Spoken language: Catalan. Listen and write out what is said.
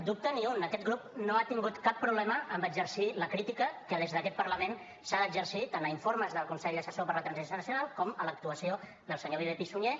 dubte ni un aquest grup no ha tingut cap problema amb exercir la crítica que des d’aquest parlament s’ha d’exercir tant a informes del consell assessor per a la transició nacional com a l’actuació del senyor viver pi sunyer